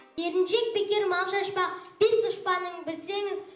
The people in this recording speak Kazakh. еріншек бекер мал шашпақ бес дұшпаның білсеңіз